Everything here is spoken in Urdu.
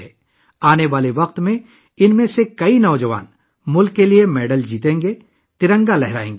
آنے والے وقتوں میں ان میں سے بہت سے نوجوان ملک کے لیے تمغے جیتیں گے، اور ترنگا لہرائیں گے